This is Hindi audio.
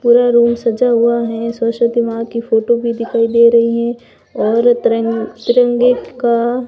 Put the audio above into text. पूरा रूम सजा हुआ है सरस्वती मां की फोटो भी दिखाई दे रही हैं और तिरंग तिरंगे का--